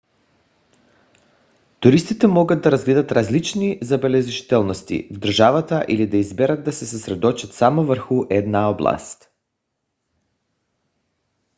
туристите могат да разгледат различни забележителности в държавата или да изберат да се съсредоточат само върху една област